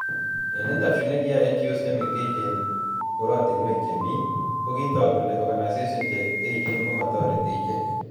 Eng interview nekiyae NGOs chemengech eng korotinwek chemi ,ko kitook kele organisations che echeen komotoreti ichek